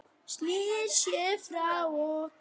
Snýr sér frá okkur.